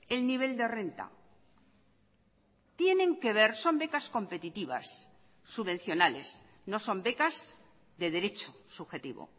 el nivel de renta tienen que ver son becas competitivas subvencionales no son becas de derecho subjetivo